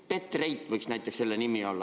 Petrate võiks näiteks selle nimi olla.